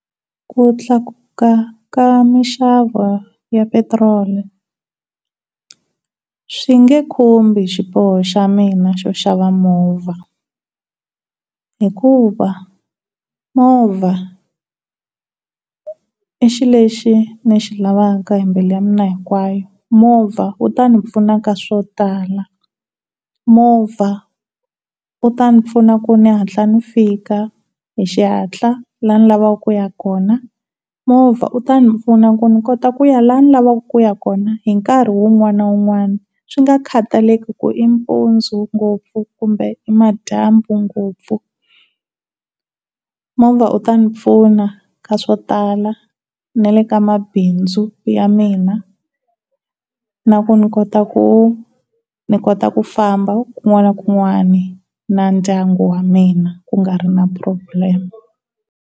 Ku tlakuka ka mixavo ya petiroli swi nge khumbi xiboho xa mina xo xava movha hikuva movha i xilo lexi ndzi xi lavaka himbu ya mina hinkwayo. Movha u tani pfuna ka swo tala, movha u tani pfuna ku ni hatla ni fika hi xihantla laha ni lavaka ku ya kona, movha u ta ni pfuni ku kota ku ya lani ni lavaka kuya kona hi nkarhi wun'wani na wun'wani swi nga khataleki ku i mpundzu ngopfu kumbe i madyambu ngopfu, movha u ta ndzi pfuna eka swo tala ni le ka mabindzu ya mina, na ku ni kota ku ni kota ku famba na ndyangu wa mina ku nga ri na problem.